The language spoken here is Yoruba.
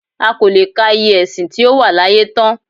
A kò lè ka iye ẹ̀sìn tí ó wà láyé tán